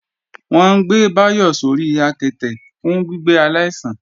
Wọ́n ń gbé Báyọ̀ sórí àketè fún gbígbé aláìsàn